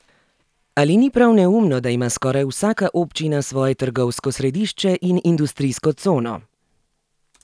Ali ni prav neumno, da ima skoraj vsaka občina svoje trgovsko središče in industrijsko cono?